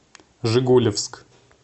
жигулевск